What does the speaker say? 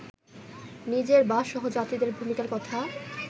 নিজের বা সহযাত্রীদের ভূমিকার কথা